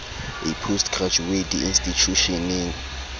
a post graduate di institjhusheneng